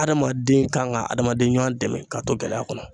Hadamaden kan ka adamaden ɲuwa dɛmɛ k'a to gɛlɛya kɔnɔ.